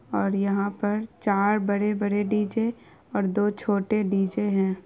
और यहाँ पर चार बड़े-बड़े डी.जे. और दो छोटे डी.जे. है।